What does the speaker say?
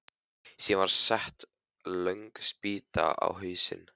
Síðan var sett löng spýta á hausinn.